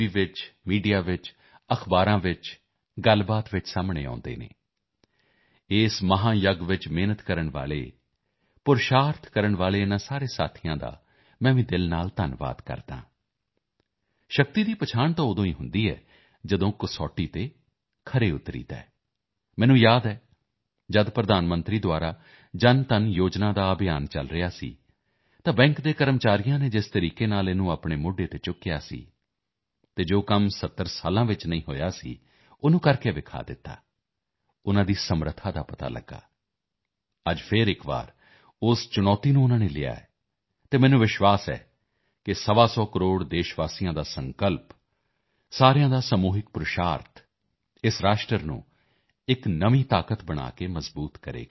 ਵਿੱਚ ਮੀਡੀਆ ਵਿੱਚ ਅਖ਼ਬਾਰਾਂ ਵਿੱਚ ਗੱਲਬਾਤ ਵਿੱਚ ਸਾਹਮਣੇ ਆਉਂਦੇ ਹਨ ਇਸ ਮਹਾਯੱਗ ਦੇ ਅੰਦਰ ਮਿਹਨਤ ਕਰਨ ਵਾਲੇ ਯਤਨ ਕਰਨ ਵਾਲੇ ਇਨ੍ਹਾਂ ਸਾਰੇ ਸਾਥੀਆਂ ਦਾ ਵੀ ਮੈਂ ਦਿਲ ਤੋਂ ਧੰਨਵਾਦ ਕਰਦਾ ਹਾਂ ਸ਼ਕਤੀ ਦੀ ਪਛਾਣ ਤਾਂ ਉਦੋਂ ਹੁੰਦੀ ਹੈ ਜਦੋਂ ਕਸੌਟੀ ਤੋਂ ਪਾਰ ਉਤਰਦੇ ਹਨ ਮੈਨੂੰ ਬਰਾਬਰ ਯਾਦ ਹੈ ਜਦੋਂ ਪ੍ਰਧਾਨ ਮੰਤਰੀ ਵੱਲੋਂ ਜਨਧਨ ਯੋਜਨਾ ਦਾ ਅਭਿਆਨ ਚਲ ਰਿਹਾ ਸੀ ਅਤੇ ਬੈਂਕ ਦੇ ਕਰਮਚਾਰੀਆਂ ਨੇ ਜਿਸ ਪ੍ਰਕਾਰ ਨਾਲ ਉਸ ਨੂੰ ਆਪਣੇ ਮੋਢੇ ਤੇ ਉਠਾਇਆ ਸੀ ਅਤੇ ਜੋ ਕੰਮ 70 ਸਾਲ ਵਿੱਚ ਨਹੀਂ ਹੋਇਆ ਸੀ ਉਨ੍ਹਾਂ ਨੇ ਕਰਕੇ ਦਿਖਾਇਆ ਸੀ ਉਨ੍ਹਾਂ ਦੀ ਸਮਰੱਥਾ ਦੀ ਪਛਾਣ ਹੋਈ ਅੱਜ ਫਿਰ ਇੱਕ ਵਾਰ ਉਸ ਚੁਣੌਤੀ ਨੂੰ ਉਨ੍ਹਾਂ ਨੇ ਲਿਆ ਹੈ ਅਤੇ ਮੈਨੂੰ ਵਿਸ਼ਵਾਸ ਹੈ ਕਿ ਸਵਾ ਸੌ ਕਰੋੜ ਦੇਸ਼ਵਾਸੀਆਂ ਦਾ ਸੰਕਲਪ ਸਭ ਦਾ ਸਮੂਹਿਕ ਯਤਨ ਇਸ ਰਾਸ਼ਟਰ ਨੂੰ ਇੱਕ ਨਵੀਂ ਤਾਕਤ ਬਣਾ ਕੇ ਮਜ਼ਬੂਤ ਕਰੇਗਾ